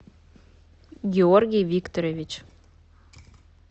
георгий викторович